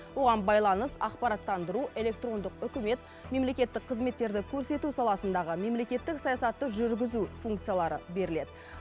оған байланыс ақпараттандыру электрондық үкімет мемлекеттік қызметтерді көрсету саласындағы мемлекеттік саясатты жүргізу функциялары беріледі